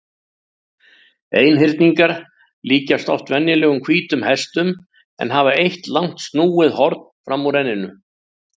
Einhyrningar líkjast oft venjulegum hvítum hestum en hafa eitt langt snúið horn fram úr enninu.